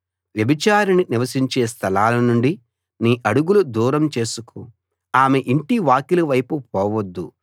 వ్యభిచారిణి నివసించే స్థలాల నుండి నీ అడుగులు దూరం చేసుకో ఆమె యింటి వాకిలి వైపు పోవద్దు